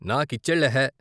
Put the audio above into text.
నా కిచ్సెళ్ళె హె.